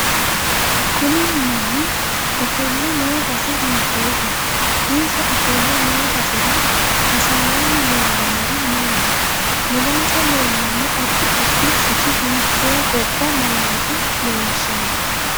Kuni manni ofolle noo base hiitoote insa ofolle noo basera hasaawani leelanori maati mulensa leelano addi addi sicci hiite gobba malaate leelishanno